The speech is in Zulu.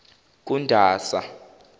kundasa